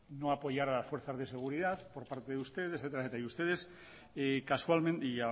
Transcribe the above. no apoyar a las fuerzas de seguridad por parte de ustedes etcétera y